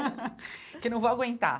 Porque eu não vou aguentar.